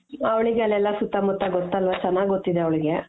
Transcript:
ಅವ್ಳಿಗೆ ಅಲ್ಲೆಲ್ಲ ಸುತ್ತಮುತ್ತ ಗೊತ್ತಲ್ವ ಚೆನಾಗ್ ಗೊತ್ತಿದೆ ಅವಳ್ಗೆ